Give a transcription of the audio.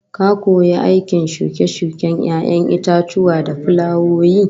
Ka koyi aikin shuke-shuken 'ya'yan itatuwa da fulawoyi